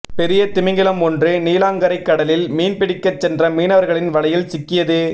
பெரிய திமிங்கலம் ஒன்று நீலாங்கரை கடலில் மீன் பிடிக்க சென்ற மீனவர்களின் வலையில் சிக்கியது